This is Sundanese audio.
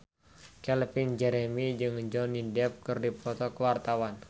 Calvin Jeremy jeung Johnny Depp keur dipoto ku wartawan